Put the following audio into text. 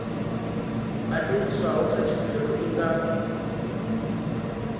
badeliswaho kha tshumelo i nga